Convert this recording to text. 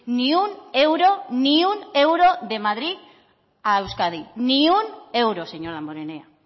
ni un euro ni un euro de madrid a euskadi ni un euro señor damborenea